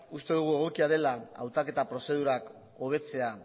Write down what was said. uste dugu egokia dela hautaketa prozedurak hobetzea